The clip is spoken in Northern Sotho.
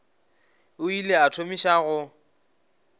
o ile a thomiša go